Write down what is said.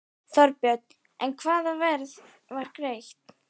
Þorbjörn: En hvaða verð var greitt?